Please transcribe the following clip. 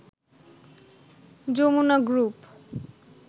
Jamuna group